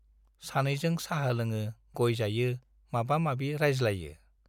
सानैजों साहा लोङो, गय जायो माबा माबि रायज्लायो।